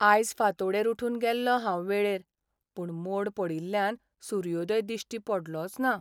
आयज फांतोडेर उठून गेल्लों हांव वेळेर, पूण मोड पडिल्ल्यान सुर्योदय दिश्टी पडलोच ना.